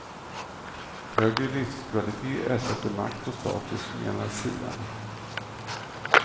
Högre livskvalitet ersätter makt och status, menar siarna.